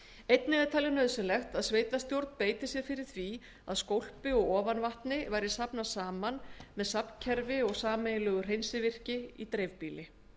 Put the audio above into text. einnig var talið nauðsynlegt að sveitarstjórn beitti sér fyrir því að skólpi og ofanvatni væri safnað saman með safnkerfi og sameiginlegu hreinsivirki í dreifbýli